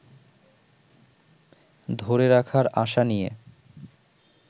ধরে রাখার আশা নিয়ে